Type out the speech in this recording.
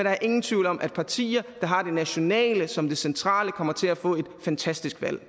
er ingen tvivl om at partier der har det nationale som det centrale kommer til at få et fantastisk valg